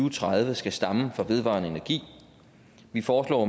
og tredive skal stamme fra vedvarende energi vi foreslår